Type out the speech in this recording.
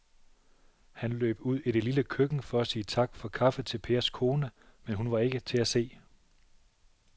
Han løb ud i det lille køkken for at sige tak for kaffe til Pers kone, men hun var ikke til at se.